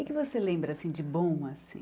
O que é que você lembra de bom, assim?